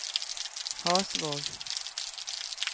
Hasvåg